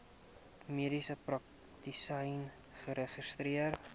mediese praktisyn geregistreer